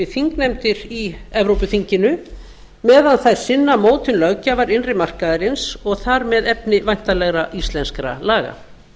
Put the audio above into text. við þingnefndir í evrópuþinginu meðan þær sinna mótun löggjafar innri markaðarins og þar með efni væntanlegra íslenskra laga